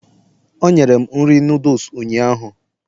o nyere m nri noodles ụnyaahụ